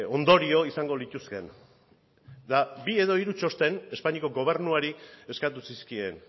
ondorio izango lituzkeen eta bi edo hiru txosten espainiako gobernuari eskatu zizkien